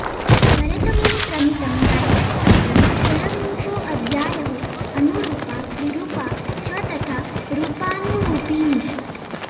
भरतमुनिप्रणीतं नाट्यशास्त्रम् षड्विंशोऽध्यायः अनुरूपा विरूपा च तथा रूपानुरूपिणी